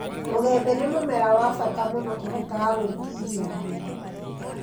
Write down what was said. Mũgĩmbĩ nĩ mũmera wa bata mũno ũhotaga gwĩtiiria riũa